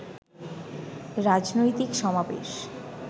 রাজনৈতিক সমাবেশ